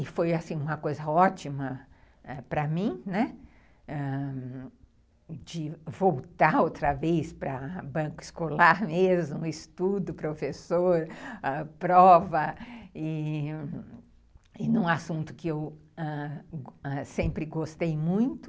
E foi uma coisa ótima para mim, né, de voltar outra vez para banco escolar mesmo, estudo, professor, prova, e e num assunto que eu sempre gostei muito.